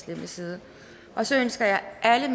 hjemmeside og så ønsker jeg alle